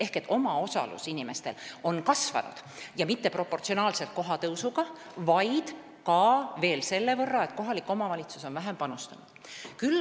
Ehk inimeste omaosalus on kasvanud, ja mitte proportsionaalselt kohatasu tõusuga, vaid ka selle võrra, mis kohalik omavalitsus on vähem panustanud.